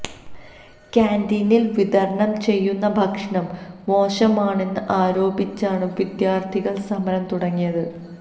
കാന്റീനിൽ വിതരണം ചെയ്യുന്ന ഭക്ഷണം മോശമാണെന്ന് ആരോപിച്ചാണ് വിദ്യാർത്ഥികൾ സമരം തുടങ്ങിയത്